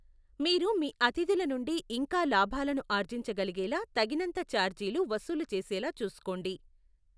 మీరు మీ అతిథుల నుండి ఇంకా లాభాలను ఆర్జించగలిగేలా తగినంత ఛార్జీలు వసూలు చేసేలా చూసుకోండి.